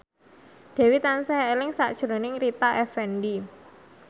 Dewi tansah eling sakjroning Rita Effendy